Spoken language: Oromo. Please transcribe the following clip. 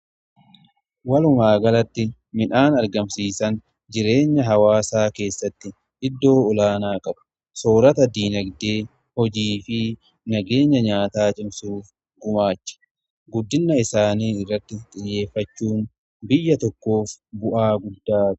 Walumaa galatti midhaan argamsiisaan jireenya hawaasaa keessatti iddoo olaanaa qaba. Soorata dinagdee, hojii fi nageenya nyaataa cimsuuf gumaacha. Guddina isaanii irratti xiyyeeffachuun biyya tokkoof bu'aa guddaadha.